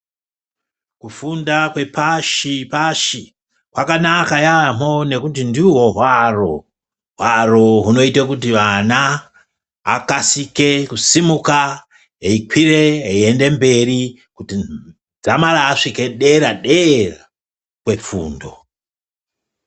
Kufunda kwepashi-pashi kwakanaka yaamboo ngekuti ndihwo hwaro. Hwaro hwunoita kuti vana akasike kusimuka eikwire eiende mberi dzamara asvika dera-dera. Kwefundo.